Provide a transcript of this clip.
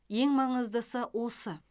ең маңыздысы осы